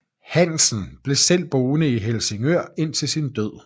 Hansen blev selv boende i Helsingør indtil sin død